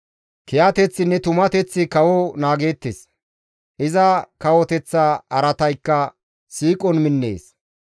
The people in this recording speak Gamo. Kiyateththinne tumateththi kawo naagettees; iza kawoteththa araataykka siiqon minnees.